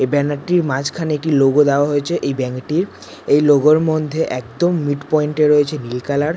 এই ব্যানার টির মাঝখানে একটি লোগো দেওয়া হয়েছে। এই ব্যানার টির এই লোগো এর মধ্যে একদম মিড্ পয়েন্ট এ রয়েছে নীল কালার ।